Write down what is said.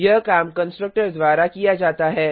यह काम कंस्ट्रक्टर द्वारा किया जाता है